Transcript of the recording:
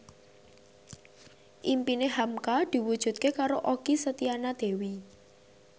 impine hamka diwujudke karo Okky Setiana Dewi